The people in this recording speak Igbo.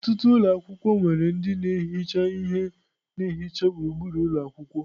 Ọtụtụ ụlọ akwụkwọ nwere ndị na-ehicha ihe na-ehicha gburugburu ụlọ akwụkwọ.